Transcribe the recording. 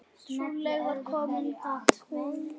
Trúlega var kominn kúnni.